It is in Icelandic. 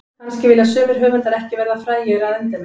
Kannski vilja sumir höfundar ekki verða frægir að endemum.